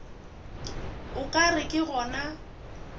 o ka re ke gona